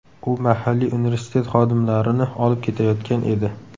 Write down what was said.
U mahalliy universitet xodimlarini olib ketayotgan edi.